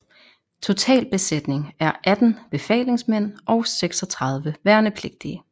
Total besætning er 18 befalingsmænd og 36 værnepligtige